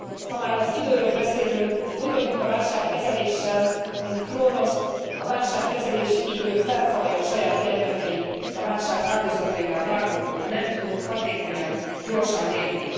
Ha már az időről beszélünk, úgy vagyunk a válságkezeléssel, mint Kronosz a válságkezelési idő felfalja a saját gyermekeit, a válság áldozataivá válunk, ha nem tudunk hatékonyan, gyorsan lépni.